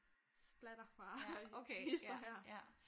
Splatter fra hist og her